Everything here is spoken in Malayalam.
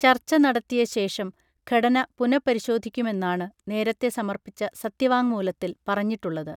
ചർച്ച നടത്തിയശേഷം ഘടന പുനഃപരിശോധിക്കുമെന്നാണ് നേരത്തെ സമർപ്പിച്ച സത്യവാങ്ങ്മൂലത്തിൽ പറഞ്ഞിട്ടുള്ളത്